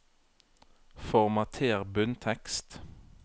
Formater bunntekst